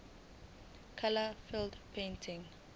imali kumele idonswe